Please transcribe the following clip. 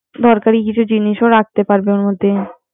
দরকারী কিছু জিনিস ও রাখতে পারবে ওর মধ্যে